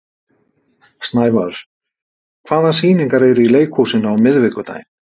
Snævarr, hvaða sýningar eru í leikhúsinu á miðvikudaginn?